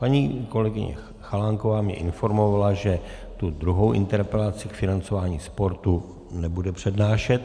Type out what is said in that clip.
Paní kolegyně Chalánková mě informovala, že tu druhou interpelaci k financování sportu nebude přednášet.